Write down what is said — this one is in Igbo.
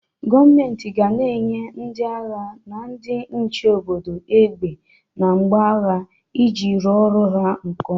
Gọmenti ga na-enye ndị agha na ndị nche obodo egbe na mgbo agha iji rụọ ọrụ ha nke oma.